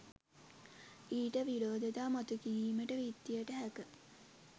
ඊට විරෝධතා මතුකිරීමට විත්තියට හැක